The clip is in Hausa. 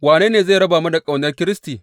Wane ne zai raba mu da ƙaunar Kiristi?